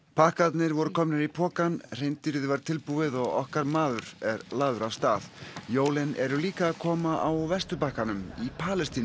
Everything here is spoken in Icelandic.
pakkarnir voru komnir í pokann hreindýrið var tilbúið og okkar maður er lagður af stað jólin eru líka að koma á Vesturbakkanum í Palestínu